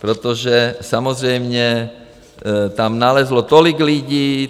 Protože samozřejmě tam nalezlo tolik lidí.